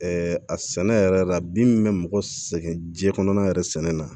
a sɛnɛ yɛrɛ la bin min bɛ mɔgɔ sɛgɛn jiyɛn kɔnɔna yɛrɛ sɛnɛ na